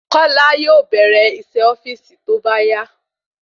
Kọ́lá yóò bèrè iṣé ofíìsì tóbá yá